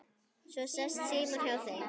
Svo sest Símon hjá þeim